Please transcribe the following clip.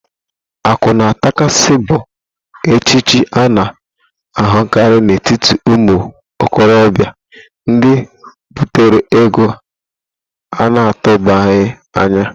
Akụ ná-atakasị bụ echichi a na-ahụkarị n'etiti ụmụ okorọbịa ndị butere ego a na-atụbaghi anya.